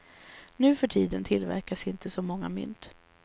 Nuförtiden tillverkas inte så många mynt.